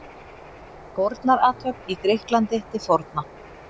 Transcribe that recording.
Fórnarathöfn í Grikklandi til forna.